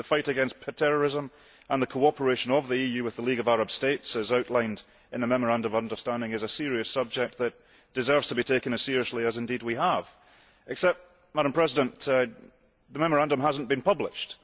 The fight against terrorism and the cooperation of the EU with the League of Arab States, as outlined in the Memorandum of Understanding, is a serious subject that deserves to be taken as seriously as indeed we have done, except that the Memorandum has not been published.